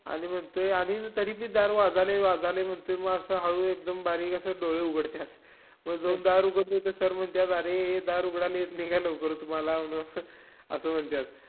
आणि म्हणताय आणि तरीबी दार वाजायलंय वाजायलंय म्हणतोय, म असं हळू एकदम बारीक असं डोळे उघडत्यात. मग जाऊन दार उघडतो तर sir म्हनत्यात, अरे ए दार उघडायला येत नाई काय लवकर तुम्हाला असं म्हणत्यात.